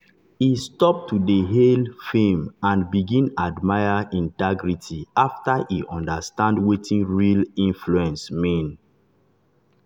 e stop to dey hail fame and begin admire integrity after e understand wetin real influence mean.